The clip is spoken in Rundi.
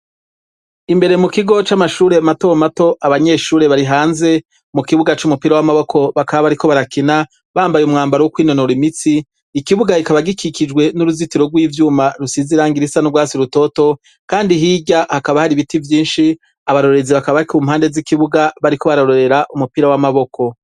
imbere mu kigo c'amashure mato mato abanyeshure bari hanze mu kibuga c'umupira w'amaboko bakaba bari ko barakina bambaye umwambaro w'o kwinonora imitsi ikibuga kikaba gikikijwe n'uruzitiro rw'ivyuma rusize irangi risa no rwatsi rutoto kandi hirya hakaba hari ibiti vyinshi abarorezi bakaba bari ku mpande z'ikibuga bariko barororera umupira w'amaboko